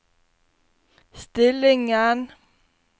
stillingen